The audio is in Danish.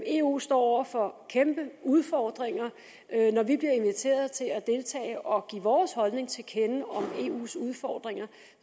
eu står over for kæmpe udfordringer når vi bliver inviteret til at deltage og give vores holdning til kende om eus udfordringer